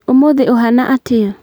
Ũmũthĩ ũhana atĩa